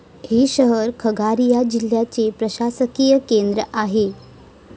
हे शहर खगारिया जिल्ह्याचे प्रशासकीय केंद्र आहे.